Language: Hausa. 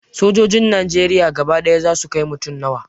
Sojojin najeriya gaba ɗaya za su kai mutum nawa?